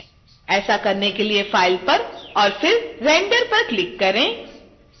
ऐसा करने के लिए file पर और फिर render पर क्लिक करें